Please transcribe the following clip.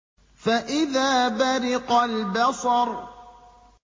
فَإِذَا بَرِقَ الْبَصَرُ